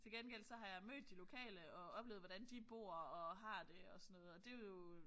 Til gengæld så har jeg mødt de lokale og oplevet hvordan de bor og har det og sådan noget og det jo